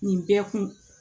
Nin bɛɛ kun